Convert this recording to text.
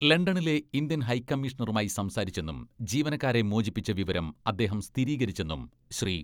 ലണ്ടനിലെ ഇന്ത്യൻ ഹൈക്കമ്മീഷണറുമായി സംസാരിച്ചെന്നും ജീവനക്കാരെ മോചിപ്പിച്ച വിവരം അദ്ദേഹം സ്ഥിരീകരിച്ചെന്നും ശ്രീ.